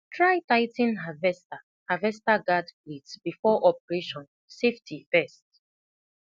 try tigh ten harvester harvester guard plates before operation safety first